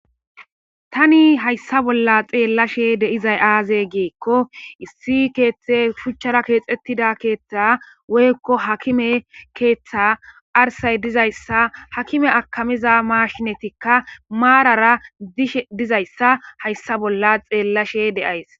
Tani hayssa bolla xeellashe de'izay aaze giikko issi keeththe shuchchara keexettida keeththa woykko hakime keeththa arsay dizayssa hakime akamiza maashinetikka maarara dishe dizayssa hayssa bolla xeellashe de'ays.